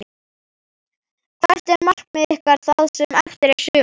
Hvert er markmið ykkar það sem eftir er sumars?